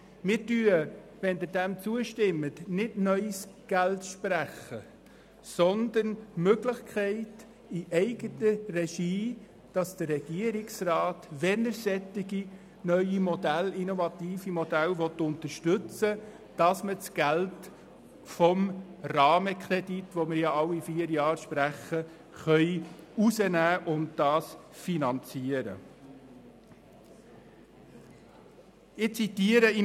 Stimmen Sie dem zu, sprechen wir nicht neues Geld, sondern wir schaffen die Möglichkeit für den Regierungsrat, in eigener Regie das Geld vom Rahmenkredit, den wir bekanntlich alle vier Jahre sprechen, herauszulösen und solche Projekte zu finanzieren, wenn er solche neue innovative Modelle unterstützen will.